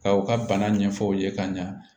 Ka u ka bana ɲɛfɔ aw ye ka ɲa